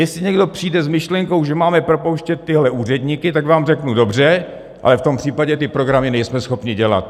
Jestli někdo přijde s myšlenkou, že máme propouštět tyhle úředníky, tak vám řeknu dobře, ale v tom případě ty programy nejsme schopni dělat!